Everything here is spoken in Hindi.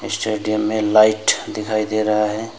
स्टेडियम में लाइट दिखाई दे रहा है।